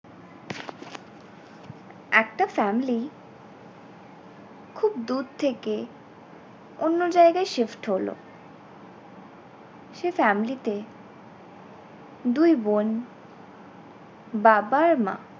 একটা family খুব দূর থেকে অন্য জায়গায় shift হলো সে family তে দুই বোন বাবা আর মা